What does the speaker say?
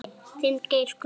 Þinn, Geir Gunnar.